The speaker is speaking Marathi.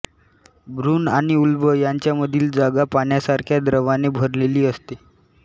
भ्रूण आणि उल्ब यांच्यामधील जागा पाण्यासारख्या द्रवाने भरलेली असते